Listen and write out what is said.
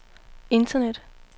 internet